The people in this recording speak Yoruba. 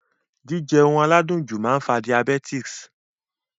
Jíjẹ oun aládùn jù máa n fa diabetes